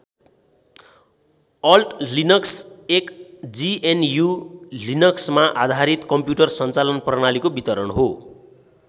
Alt Linux एक GNU लिनक्समा आधारित कम्प्युटर सञ्चालन प्रणालीको वितरण हो।